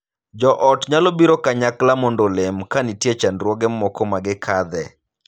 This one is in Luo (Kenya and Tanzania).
Joot nyalo biro kanyakla mondo olem ka nitie chandruoge moko ma gikadhe.